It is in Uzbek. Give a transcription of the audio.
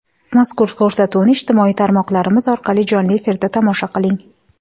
Mazkur ko‘rsatuvni ijtimoiy tarmoqlarimiz orqali jonli efirda tomosha qiling!.